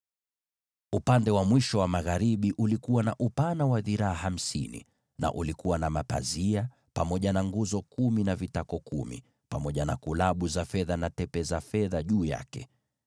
Upande wa mwisho wa magharibi ulikuwa na upana wa dhiraa hamsini na ulikuwa na mapazia, na nguzo kumi na vitako vyake kumi, pamoja na kulabu na tepe za fedha juu ya hizo nguzo.